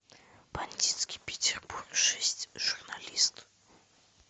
бандитский петербург шесть журналист